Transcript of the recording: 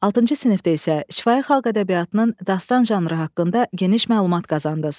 Altıncı sinifdə isə şifahi xalq ədəbiyyatının dastan janrı haqqında geniş məlumat qazandınız.